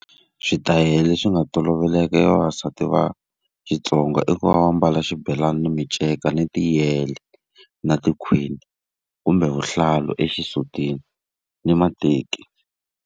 Switayele leswi nga toloveleka hi vavasati va Xitsonga i ku va va ambala xibelani na minceka, ni tiyele na tikhwini kumbe vuhlalu exisutini ni mateki.